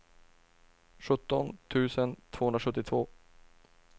sjutton tusen tvåhundrasjuttiotvå